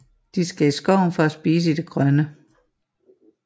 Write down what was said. De skal i skoven for at spise i det grønne